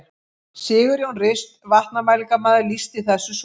Sigurjón Rist vatnamælingamaður lýsti þessu svo: